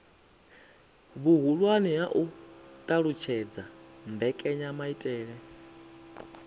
vhuhulwane ha u alutshedza mbekanyamaitele